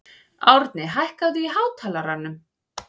Árni, hækkaðu í hátalaranum.